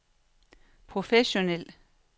professionel